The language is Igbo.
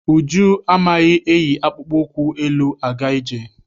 Uju amaghị eyi akpụkpọ ụkwụ elu-aga ije.